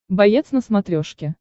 боец на смотрешке